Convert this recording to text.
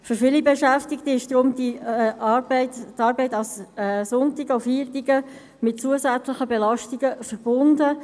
Deshalb ist für viele Beschäftigte die Arbeit an Sonn- und Feiertagen mit zusätzlichen Belastungen verbunden.